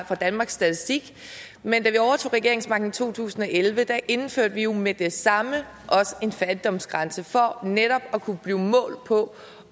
fra danmarks statistik men da vi overtog regeringsmagten i to tusind og elleve indførte vi jo med det samme også en fattigdomsgrænse for netop at kunne blive målt på